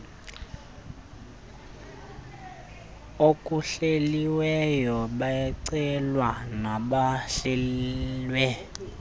okuhleliweyo bacelwa nobuhlelwe